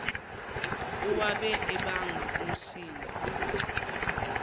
owabe ebanga umsindo